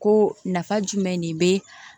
Ko nafa jumɛn de be